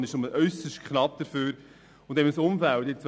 Die Kommission ist nur äusserst knapp dafür.